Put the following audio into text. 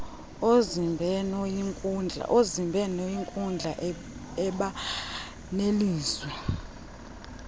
yezibhenoyinkundla eba nelizwi